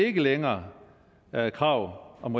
ikke længere er et krav om